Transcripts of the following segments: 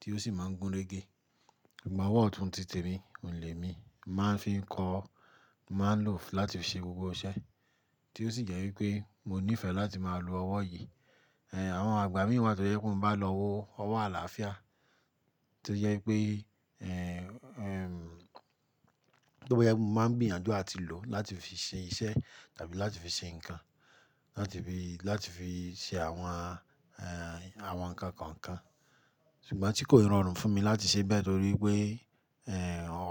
tí ó sì máa ń gún régé. Ìgbon ọwọ́ ọ̀tún titè mi, òǹlẹ̀ mi, màá ń fi kọ, màá ń lò ó láti fi ṣe gbogbo iṣẹ́. Tí ó sì jẹ́ wípé mo nífẹ̀ẹ́ láti máa lo ọwọ́ yìí. Àwọn àgbà mí wá tó jẹ́ pe mọ́n bá lọ wo ọwọ́ àlàáfíà. Tí ó jẹ́ wípé, tó bá je pẹ, mo máa ń gbìyànjú à ti lò ó láti fi ṣe iṣẹ́ tàbí láti fi ṣe ǹkan, láti fi, láti fi ṣe àwọn, àwọn ǹkan kan kan. Ṣùgbọ́n tí kò rọrùn fún mi láti ṣe bẹ́ẹ̀ torí pé,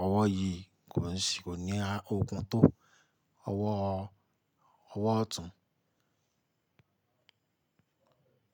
ọwọ́ yìí kò ní, kò ní okún tó ọwọ́, ọwọ́ ọ̀tún.